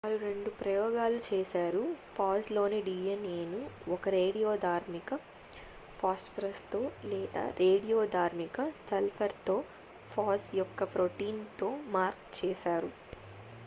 వారు రెండు ప్రయోగాలు చేశారు ఫాజ్ లోని డిఎన్ఎను ఒక రేడియోధార్మిక ఫాస్పరస్ తో లేదా రేడియో ధార్మిక సల్ఫర్ తో ఫాజ్ యొక్క ప్రోటీన్ తో మార్క్ చేశారు